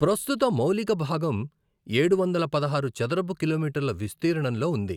ప్రస్తుత మౌలికభాగం ఏడువందల పదహారు చదరపు కిలోమీటర్ల విస్తీర్ణంలో ఉంది.